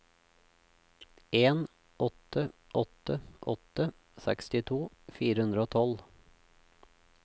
en åtte åtte åtte sekstito fire hundre og tolv